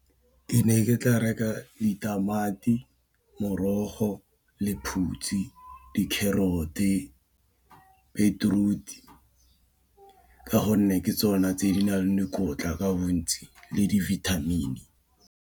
Ke ne ke tla reka ditamati morogo lephutsi di carrot beetroot ka gonne ke tsona tse di nang le dikotla ka bontsi le dibithamini.